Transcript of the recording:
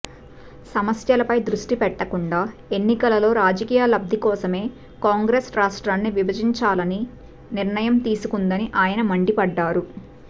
సమస్యలపై దృష్టి పెట్టకుండా ఎన్నికలలో రాజకీయ లబ్ది కోసమే కాంగ్రెస్ రాష్ట్రాన్ని విభజించాలని నిర్ణయం తీసుకుందని ఆయన మండిపడ్డారు